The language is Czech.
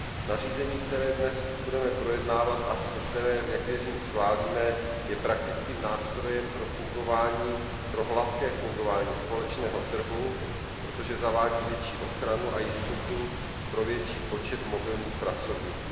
Nařízení, které dnes budeme projednávat a které, jak věřím, schválíme, je praktickým nástrojem pro hladké fungování společného trhu, protože zavádí větší ochranu a jistotu pro větší počet mobilních pracovníků.